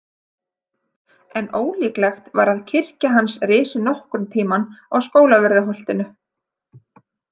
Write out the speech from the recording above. En ólíklegt var að kirkja hans risi nokkurn tímann á Skólavörðuholtinu.